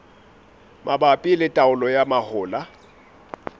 mabapi le taolo ya mahola